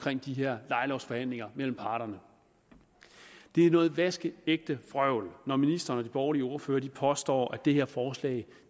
de her lejelovsforhandlinger mellem parterne det er noget vaskeægte vrøvl når ministeren og de borgerlige ordførere påstår at det her forslag